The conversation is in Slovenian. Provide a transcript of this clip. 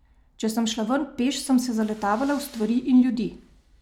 Če sem šla ven peš, sem se zaletavala v stvari in ljudi.